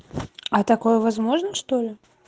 а такое возможно что ли